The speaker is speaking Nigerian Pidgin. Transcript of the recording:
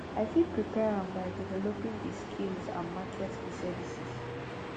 i fit prepare am by developing di skills and market di services